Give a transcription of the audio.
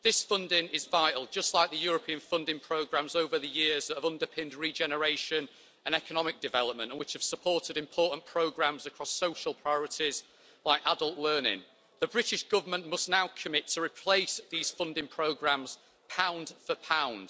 This funding is vital, just like the European funding programmes over the years that have underpinned regeneration and economic development, and which have supported important programmes across social priorities like adult learning. The British Government must now commit to replacing these funding programmes pound for pound.